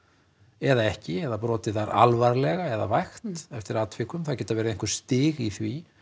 eða ekki eða brotið þær alvarlega eða vægt eftir atvikum það geta verið einhver stig í því